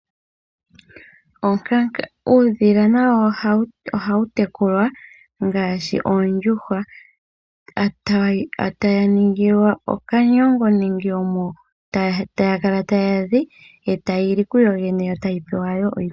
Onkanga. Uudhila nawo oha wu tekulwa ngaashi oondjuhwa ta dhi ningilwa oshikuku, omo tadhi kala tadhi zi, dho tadhi kala tadhi li kudho dhene.